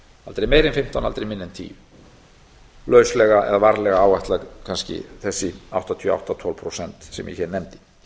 aldrei meira en fimmtán aldrei minna en tíu lauslega eða varlega áætlað kannski þessi áttatíu og átta tólf prósent sem ég hér nefndi